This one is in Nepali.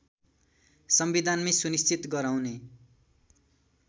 संविधानमै सुनिश्चित गराउने